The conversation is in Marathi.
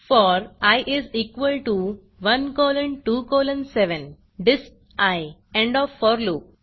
four i is equal T O 1 colon 2 colon 7 disp end O F for loop